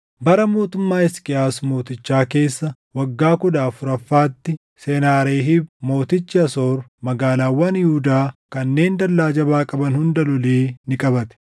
Bara mootummaa Hisqiyaas mootichaa keessa waggaa kudha afuraffaatti, Senaaheriib mootichi Asoor magaalaawwan Yihuudaa kanneen dallaa jabaa qaban hunda lolee ni qabate.